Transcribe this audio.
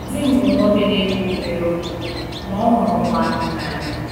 Di m bụ nwoke na-ekwu obere okwu, ma ọ hụrụ ụmụaka n’anya.